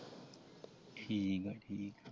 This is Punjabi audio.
ਠੀਕਾ ਠੀਕਾ ।